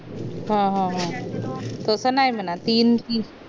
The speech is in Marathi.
हम्म हम्म तो त नाही घेणार